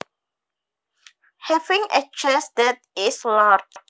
Having a chest that is large